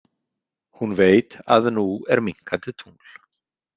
Hún veit að nú er minnkandi tungl.